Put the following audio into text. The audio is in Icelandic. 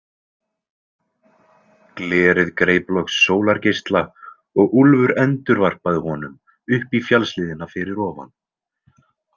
Glerið greip loks sólargeisla og Úlfur endurvarpaði honum upp í fjallshlíðina fyrir ofan.